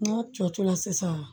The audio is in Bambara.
N'a cɔ cɔla sisan